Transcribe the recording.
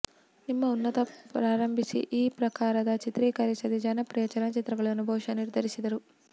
ನಿಮ್ಮ ಉನ್ನತ ಪ್ರಾರಂಭಿಸಿ ಈ ಪ್ರಕಾರದ ಚಿತ್ರೀಕರಿಸದೇ ಜನಪ್ರಿಯ ಚಲನಚಿತ್ರಗಳನ್ನು ಬಹುಶಃ ನಿರ್ಧರಿಸಿದರು